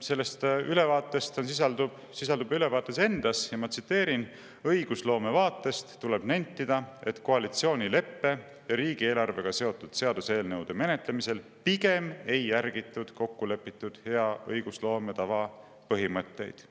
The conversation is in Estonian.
sellest ülevaatest sisaldub ülevaates endas, ma tsiteerin: "Õigusloome vaatest tuleb nentida, et koalitsioonileppe ja riigieelarvega seotud seaduseelnõude menetlemisel pigem ei järgitud kokkulepitud hea õigusloome põhimõtteid.